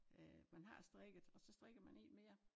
Øh man har strikket og så strikker man én mere